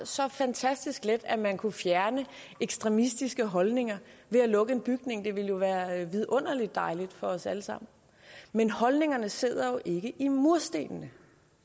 så fantastisk let at man kunne fjerne ekstremistiske holdninger ved at lukke en bygning det ville jo være vidunderlig dejligt for os alle sammen men holdningerne sidder jo ikke i murstenene